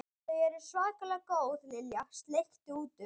Þau eru svakalega góð Lilla sleikti út um.